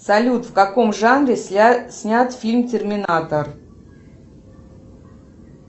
салют в каком жанре снят фильм терминатор